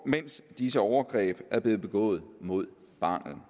mens disse overgreb er blevet begået mod barnet